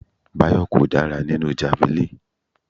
Bayo kò dára nínú javelin.